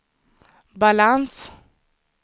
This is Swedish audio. balans